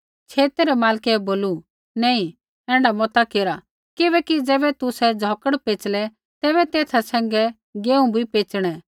छेतै रै मालकै बोलू नैंई ऐण्ढा मता केरा किबैकि ज़ैबै तुसै झ़ौकड़ पेचलै तैबै तेथा सैंघै गेहूँ भी पेचणै